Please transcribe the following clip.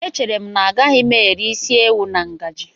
Echere m na agaghị m eri isi ewu na ngaji.